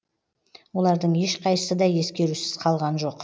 олардың ешқайсысы да ескерусіз қалған жоқ